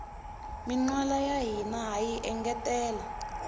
minwala ya hina hayi engetela